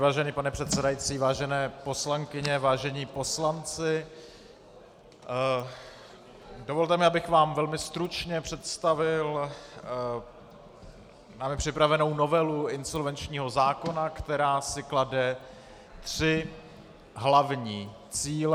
Vážený pane předsedající, vážené poslankyně, vážení poslanci, dovolte mi, abych vám velmi stručně představil námi připravenou novelu insolvenčního zákona, která si klade tři hlavní cíle.